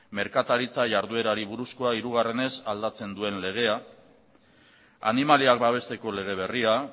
merkataritza jarduerari buruzkoa hirugarrenez aldatzen duen legea animaliak babesteko lege berria